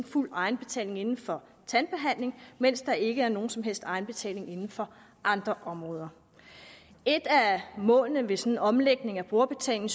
fuld egenbetaling inden for tandbehandling mens der ikke er nogen som helst egenbetaling inden for andre områder et af målene ved en sådan omlægning af brugerbetalingen